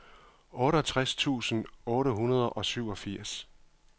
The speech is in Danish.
otteogtres tusind otte hundrede og syvogfirs